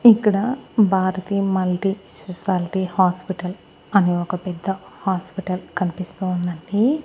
ఇక్కడ Bharati multi speciality hospital అనే ఒక పెద్ద హాస్పిటల్ కనిపిస్తూ ఉందండి.